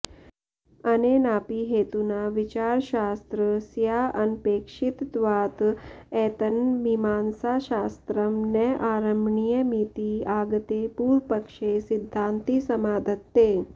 अनेनापि हेतुना विचारशास्त्र स्याऽनपेक्षितत्वात् एतन्मीमांसाशास्त्रं न आरम्भणीयमिति आगते पूर्वपक्षे सिद्धान्ती समाधत्ते